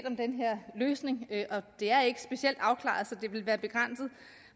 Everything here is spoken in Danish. om den her løsning det er ikke specielt afklaret så det ville være begrænset